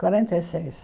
Quarenta e seis.